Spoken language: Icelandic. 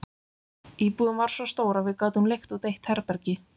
Íbúðin var svo stór að við gátum leigt út eitt herbergi.